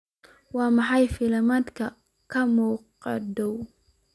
waa maxay filimada ka muuqda dhow